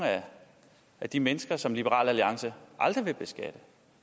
af de mennesker som liberal alliance aldrig vil beskatte